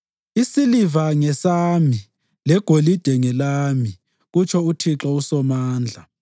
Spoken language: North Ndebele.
‘Isiliva ngesami legolide ngelami,’ kutsho uThixo uSomandla.